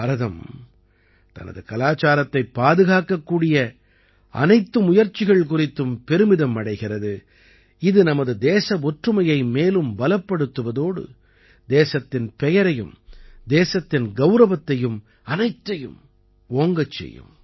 பாரதம் தனது கலாச்சாரத்தைப் பாதுகாக்கக்கூடிய அனைத்து முயற்சிகள் குறித்தும் பெருமிதம் அடைகிறது இது நமது தேச ஒற்றுமையை மேலும் பலப்படுத்துவதோடு தேசத்தின் பெயரையும் தேசத்தின் கௌரவத்தையும் அனைத்தையும் ஓங்கச் செய்யும்